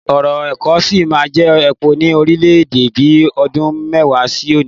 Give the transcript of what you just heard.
Ọ̀rọ̀ ẹ̀kọ́ sí máa jẹ́ òpó ni orílẹ̀-èdè bi ọdún mẹ́wàá sí òní